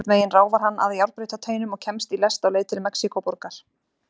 Einhvern veginn ráfar hann að járnbrautarteinum og kemst í lest á leið til Mexíkóborgar.